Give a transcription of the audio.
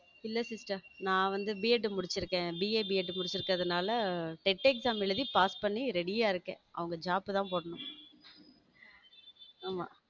இல்ல sister நான் வந்து B. ED முடிச்சு இருக்கேன் BAB. ED முடிச்சிருக்கனால டெட் எக்ஸாம் எழுதி pass பண்ணி ready யா இருக்கேன் அவங்க job தான் போடணும் ஆமா.